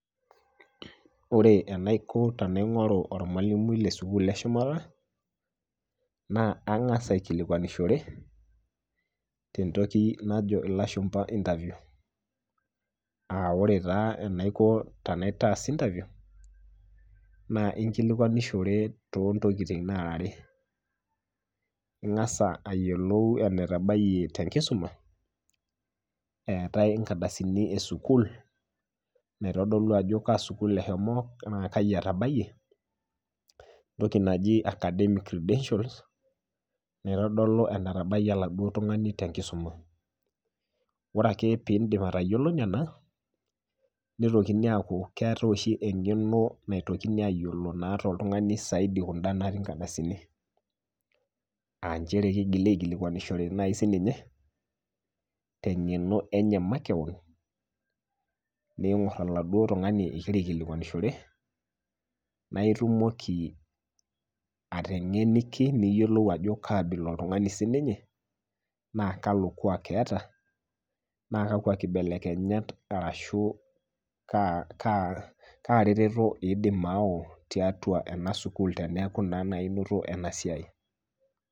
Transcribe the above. Ore enaiko tenaing'oru ormalimui le sukul e shumata naa ang'as aikilikuanishore tentoki najo lashumba interview. [Aa] ore taa enaiko tenaitaas  interview naa inkilikuanishore toontokitin naarare, ing'as ayiolou enetabayie tenkisuma eetai inkadasini e sukul naitodolu ajo kaa sukul eshomo naa kaji etabayie, ntoki naji academic credentials, naitodolu enetabayie laduo tung'ani tenkisuma. Ore ake piindip atayiolo nena, neitokini aaku keeati oshi eng'eno naitokini ayiolo naa toltungani saidi kunda natii nkadasini, [aa] nchere keigili aikilikuanishore nai sininye teng'eno enye makewon ning'orr oladuo tung'ani igira aikilikuanishore naaitumoki ateng'eniki niyiolou ajo kaabila oltung'ani sininye naa kalo kuaak eata naa kakwa kibelekenyat arashu kaa, kaa retoto eidim aau tiatua enasukul teneaku naa nai enoto enasiai.